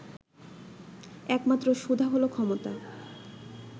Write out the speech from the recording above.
একমাত্র সুধা হলো 'ক্ষমতা'